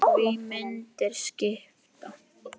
Því myndir skipta máli.